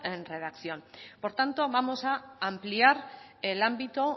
en redacción por tanto vamos a ampliar el ámbito